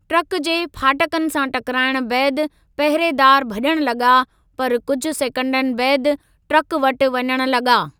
Truck जे फाटकनि सां टकराइणु बैदि पहरेदार भज॒णु लगा॒, पर कुझु सेकंडनि बैदि ट्रक वटि वञण लगा॒।